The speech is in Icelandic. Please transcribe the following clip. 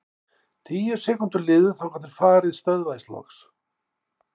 Tíu sekúndur liðu þangað til farið stöðvaðist loks.